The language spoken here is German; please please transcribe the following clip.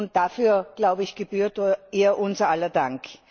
Und dafür, glaube ich, gebührt ihr unser aller Dank.